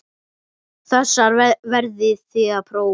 Þessar verðið þið að prófa.